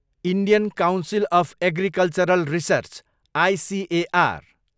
Indian council of agricultural research, ICAR